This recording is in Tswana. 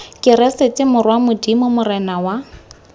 keresete morwa modimo morena wa